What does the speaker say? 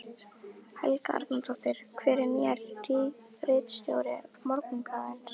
Helga Arnardóttir: Hver er nýr ritstjóri Morgunblaðsins?